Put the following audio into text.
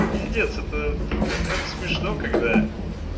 пиздец это это смешно когда